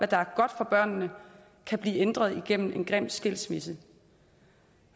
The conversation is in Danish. der er godt for børnene kan blive ændret igennem en grim skilsmisse